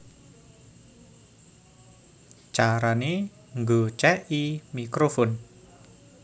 Carané Nggocèki Mikrofon